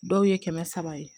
Dɔw ye kɛmɛ saba ye